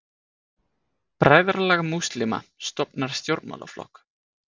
Bræðralag múslíma stofnar stjórnmálaflokk